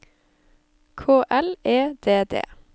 K L E D D